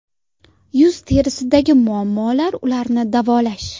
Yuz terisidagi muammolar ularni davolash.